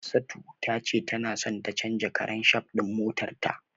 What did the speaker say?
Hafsatu tace tana so ta canja karan shaf din motarta.